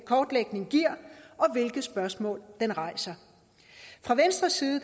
kortlægning giver og hvilke spørgsmål den rejser fra venstres side